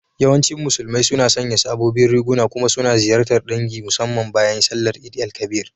Yawancin Musulmai suna sanya sabobin riguna kuma suna ziyartar ɗangi musamman bayan sallar Eid_el Kabir.